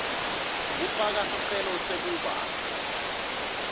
kufaka sicelo sekuba